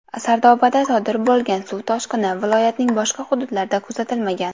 Sardobada sodir bo‘lgan suv toshqini viloyatning boshqa hududlarida kuzatilmagan.